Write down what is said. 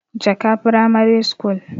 jaka pramare school